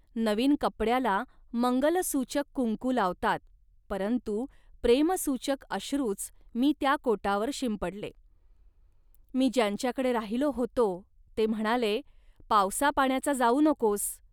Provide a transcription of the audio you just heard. नवीन कपड्याला मंगलसूचक कुंकू लावतात, परंतु प्रेमसूचक अश्रूच मी त्या कोटावर शिंपडले. मी ज्यांच्याकडे राहिलो होतो, ते म्हणाले, "पावसापाण्याचा जाऊ नकोस